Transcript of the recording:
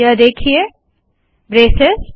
यह देखिए ब्रेसेस